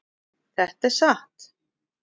Þetta er satt